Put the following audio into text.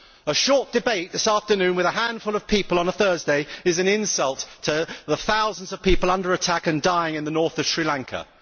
A short debate this afternoon with a handful of people on a Thursday is an insult to the thousands of people under attack and dying in the north of Sri Lanka.